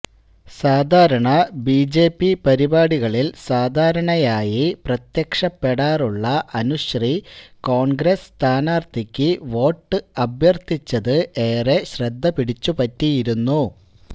സാധാരണ ബിജെപി പരിപാടികളിൽ സാധാരണയായി പ്രത്യക്ഷപ്പെടാറുള്ള അനുശ്രീ കോൺഗ്രസ്സ് സ്ഥാനാർത്ഥിക്ക് വോട്ട് അഭ്യർത്ഥിച്ചത് ഏറെ ശ്രദ്ധപിടിച്ചുപറ്റിയിരുന്നു